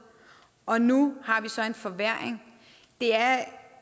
og nu har vi så en forværring det er